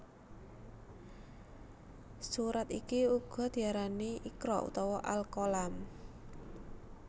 Surat iki uga diarani Iqra utawa Al Qalam